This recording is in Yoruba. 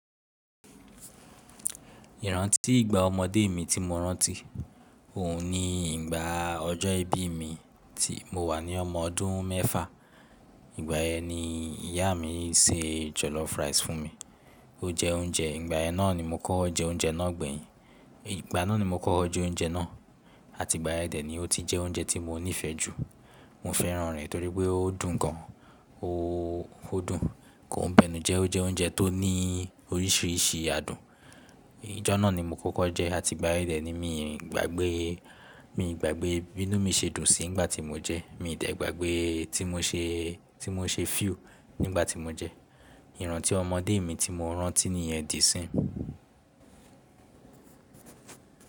Ìrántí ìgbà ọmọdé mi tí mo rántí, òun ni ìgbà ọjọ́ ìbí mi tí mo wà ní ọmọ ọdún mẹ́fà. Ìgbà yẹn ni ìyá mi se jollof rice fún mi. O jẹ oúnjẹ, ìgbà yẹn na ni mo kọ́ ọ jẹ oúnjẹ náà gbẹ̀yin. Ìgbà náà ni mo kọ́ jẹ oúnjẹ náà àti ìgbà yẹn dẹ ni ó ti jẹ oúnjẹ tí mo nífẹ̀ẹ́ jù. Mo fẹ́ràn rẹ̀ torí pé ó dùn gan an, ó dùn, kò ń bẹnu jẹ, ó jẹ oúnjẹ tó ní oríṣiríṣi adùn. Ìjọ náà ni mo kọ́kọ́ jẹ́ àti ìgbà ẹdẹ ni mi gbàgbé, mi gbàgbé bí inú mi se dùn sí nígbà tí mo jẹ. Mi dẹ̀ gbàgbé tí mo ṣe, tí mo ṣe akiyesi nígbà tí mo jẹ. Ìrántí ọmọdé mi tí mo rántí ni ẹ di sí.